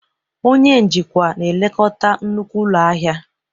Onye njikwa na-elekọta nnukwu ụlọ ahịa